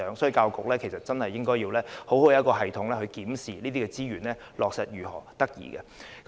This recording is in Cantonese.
就此，教育局應該設立良好的體制，適時檢視這些資源的落實情況。